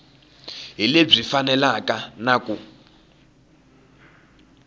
hi lebyi faneleke na ku